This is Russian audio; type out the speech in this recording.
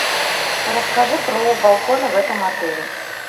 расскажи про балконы в этом отеле